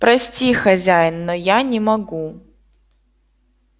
прости хозяин но я не могу